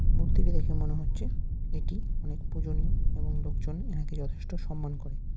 মূর্তিটি দেখে মনে হচ্ছে এটি অনেক পূজনীয় এবং লোকজন এনাকে যথেষ্ট সম্মান করে।